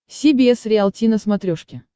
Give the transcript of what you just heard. си би эс риалти на смотрешке